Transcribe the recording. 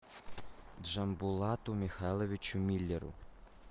джамбулату михайловичу миллеру